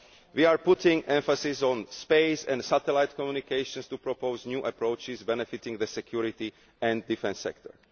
We are putting emphasis on space and satellite communications, to propose new approaches benefiting the security and defence sector.